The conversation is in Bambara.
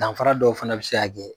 Danfara dɔw fana bi se ka kɛ